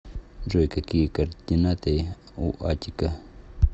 джой какие координаты у аттика